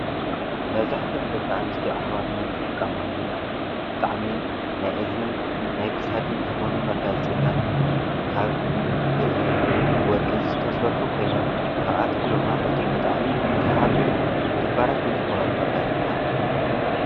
መዛኃት ያንደቃኣንስቲ ዓኅባትና ዝጥቃምኣሎም ብጣዕሚ ናይ እዝንን ናይ ክሳድን ዝኾኑ መጋዝ ጽታት ካብ ብሪ ወርቂ ዝተሠርኁ ኮይኖም ካብኣቶም ዶማ እቶም ብጣዕሚ ሰሓብትን ክባራትን ዝብሃሉ መጋየፅታት እዮም።